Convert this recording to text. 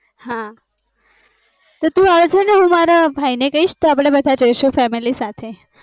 હા તું અવ તો હું મારા ભાઈ ને કીસ તો અપડે બધા જઇસુ